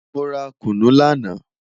Mo ra kunu lana